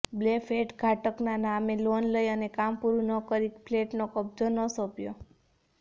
બે ફલેટ ઘાટકના નામે લોન લઈ અને કામ પુરૂ ન કરી ફલેટનો કબજો ન સોપ્યો